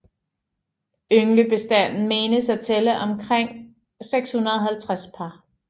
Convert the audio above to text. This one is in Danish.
Ynglebestanden menes at tælle omkring 650 par